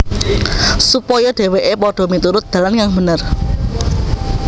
Supaya dhèwèké padha miturut dalan kang bener